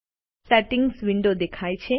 settings window દેખાય છે